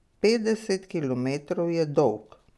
Petdeset kilometrov je dolg!